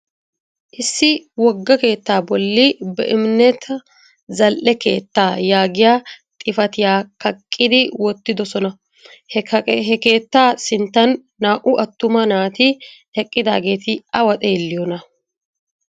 Issi wogga keettaa bolli Beimneta zal'e keettaa yaagiya xifatiyaa kaqqidi wottidosona. He keettaa sinttan naa"u attuma naati eqqidaageeti awa xeelliyoonaa?